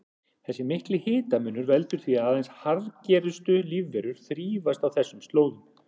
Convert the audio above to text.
Þessi mikli hitamunur veldur því að aðeins harðgerustu lífverur þrífast á þessum slóðum.